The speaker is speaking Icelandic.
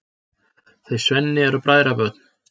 Þau Svenni eru bræðrabörn.